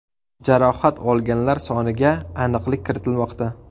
Jarohat olganlar soniga aniqlik kiritilmoqda.